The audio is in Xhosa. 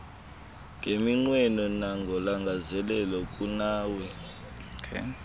ngeminqweno nangolangazelelo kunawe